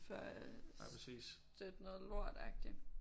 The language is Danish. For at støtte noget lort agtig